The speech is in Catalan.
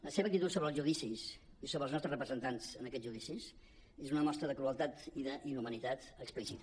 la seva actitud sobre els judicis i sobre els nostres representants en aquests judicis és una mostra de crueltat i d’inhumanitat explícita